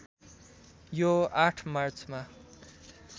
यो ८ मार्चमा